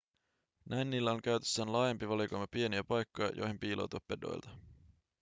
näin niillä on käytössään laajempi valikoima pieniä paikkoja joihin piiloutua pedoilta